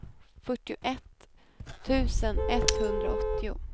fyrtioett tusen etthundraåttio